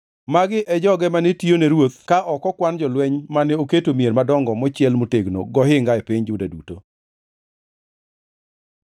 Magi e joge mane tiyo ne ruoth ka ok okwan jolweny mane oketo e mier madongo mochiel motegno gohinga e piny Juda duto.